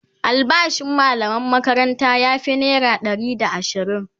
albashin mallaman makaranta ya Fi naira Ɗari da ashirin